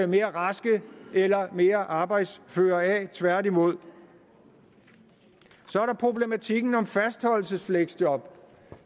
mere raske eller mere arbejdsføre af tværtimod så er der problematikken om fastholdelsesfleksjob